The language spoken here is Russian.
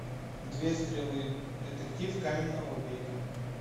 две стрелы детектив каменного века